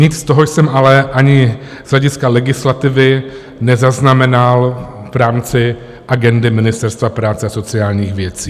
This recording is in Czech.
Nic z toho jsem ale ani z hlediska legislativy nezaznamenal v rámci agendy Ministerstva práce a sociálních věcí.